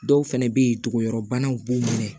Dɔw fɛnɛ be ye togobanaw b'u minɛ